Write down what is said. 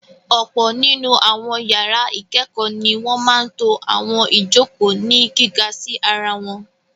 Ọ̀pọ̀ nínú àwọn yàrá ìkẹ́kọ̀ọ́ ni wọ́n máa ń to àwọn ìjokòó ní gíga sí ara wọn.